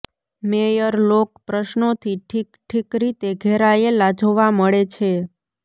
mayor લોક પ્રશ્નોથી ઠીક ઠીક રીતે ઘેરાયેલા જોવા મળે છે